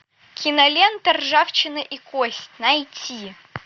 кинолента ржавчина и кость найти